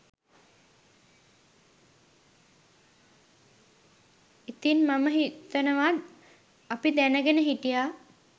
ඉතින් මම හිතනවා අපි දැනගෙන හිටියා